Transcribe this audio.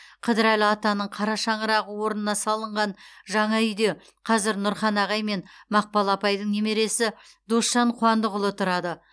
қыдырәлі атаның қара шаңырағы орнына салынған жаңа үйде қазір нұрхан ағай мен мақпал апайдың немересі досжан қуандықұлы тұрады